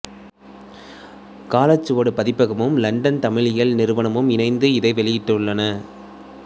காலச்சுவடு பதிப்பகமும் இலண்டன் தமிழியல் நிறுவனமும் இணைந்து இதை வெளியிட்டுள்ளன